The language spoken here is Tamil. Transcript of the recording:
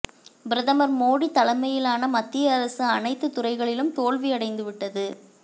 பிரதமா் மோடி தலைமையிலான மத்திய அரசு அனைத்து துறைகளிலும் தோல்வி அடைந்துவிட்டது